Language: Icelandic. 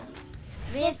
við